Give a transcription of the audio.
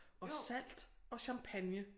Og salt og champagne